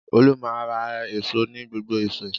Olú máa ń ra èso ní gbogbo ọ̀sẹ̀.